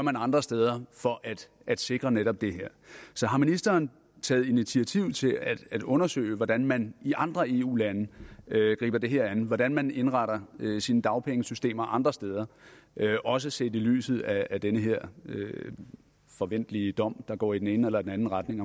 andre steder for at sikre netop det her har ministeren taget initiativ til at undersøge hvordan man i andre eu lande griber det her an hvordan man indretter sine dagpengesystemer andre steder også set i lyset af den her forventelige dom der går i den ene eller den anden retning